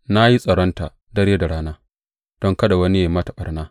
Na yi tsaronta dare da rana don kada wani yă yi mata ɓarna.